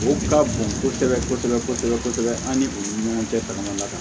O ka bon kosɛbɛ kosɛbɛ kosɛbɛ kosɛbɛ an ni u ni ɲɔgɔn cɛ jamana la